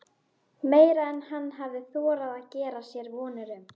Meira en hann hafði þorað að gera sér vonir um.